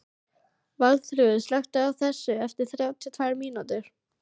Valþrúður, slökktu á þessu eftir þrjátíu og tvær mínútur.